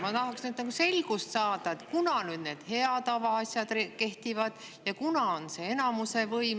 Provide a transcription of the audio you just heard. Ma tahaksin saada selgust selles, et millal kehtivad need hea tava asjad ja millal enamuse võim.